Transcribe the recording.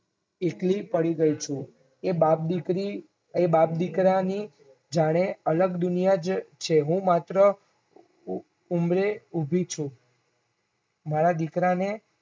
એકલી પડી ગઈ છું. એ બાપ દીકરી એ બાપદીકરાની જાણે અલગ દુનિયા જ છે હું માત્ર ઉંમરે ઉભી છું મારા દીકરાને